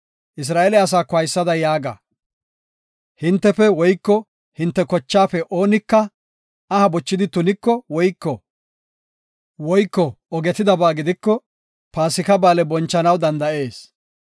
“Isra7eele asaako haysada yaaga; hintefe woyko hinte kochaafe oonika aha bochidi tuniko woyko ogetidabaa gidiko, Paasika Ba7aale bonchanaw danda7ees.